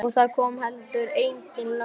Og það kom heldur engin lögga.